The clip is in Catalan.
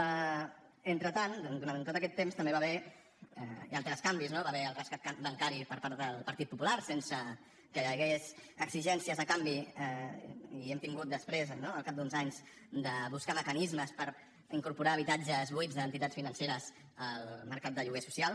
mentrestant durant tot aquest temps també hi va haver altres canvis no hi va haver el rescat bancari per part del partit popular sense que hi hagués exigències a canvi i hem hagut després no al cap d’uns anys de buscar mecanismes per incorporar habitatges buits d’entitats financeres al mercat de lloguer social